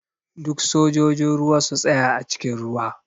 Duk sojojin ruwa su tsaya a cikin ruwa!